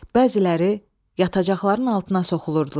Bəziləri yatacaqların altına soxulurdular.